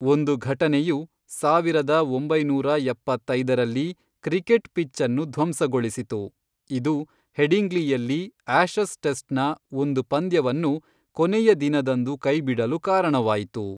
ಒಂದು ಘಟನೆಯು, ಸಾವಿರದ ಒಂಬೈನೂರ ಎಪ್ಪತ್ತೈದರಲ್ಲಿ ಕ್ರಿಕೆಟ್ ಪಿಚ್ ಅನ್ನು ಧ್ವಂಸಗೊಳಿಸಿತು, ಇದು ಹೆಡಿಂಗ್ಲಿಯಲ್ಲಿ ಆಶಸ್ ಟೆಸ್ಟ್ನ ಒಂದು ಪಂದ್ಯವನ್ನು ಕೊನೆಯ ದಿನದಂದು ಕೈಬಿಡಲು ಕಾರಣವಾಯಿತು.